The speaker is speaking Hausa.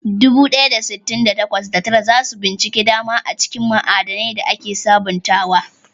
Dubu ɗaya da sittin da takwas, da tara za su bincika dama a cikin ma'adanai da ake sabantawa.